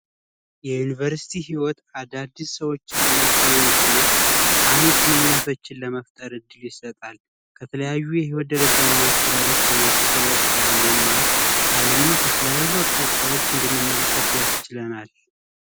የዩኒቨርስቲ ህይወት አዳዲስ ሰዎችን ለመገናኘት እነ ጠቃሚ ግኑኙነቶችን ለመፍጠር እድል ይሰጣል። ከተለያዩ የህይወት ደረጃ እና አስተዳደግ ከመጡ ሰዎች ጋር መማር አለምን ከተለያዩ አቅጣጫዎች እንድንመለከት ያስችለናል።